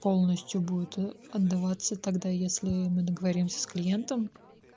полностью будет эотдаваться тогда если мы договоримся с клиентом